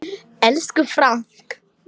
Elsku Frank.